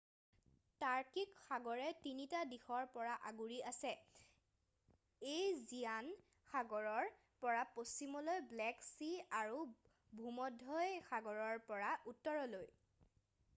টাৰ্কিক সাগৰে 3 টা দিশৰ পৰা আগুৰি আছে এইজিয়ান সাগৰৰ পৰা পশ্চিমলৈ ব্লেক চি আৰু ভূমধ্য সাগৰৰ পৰা উত্তৰলৈ